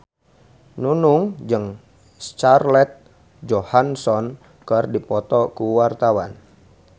Nunung jeung Scarlett Johansson keur dipoto ku wartawan